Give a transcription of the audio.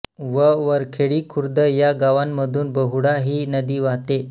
व वरखेडी खुर्द या गावांमधून बहुळा हि नदी वाहते